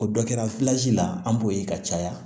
O dɔ kɛra la an b'o ye ka caya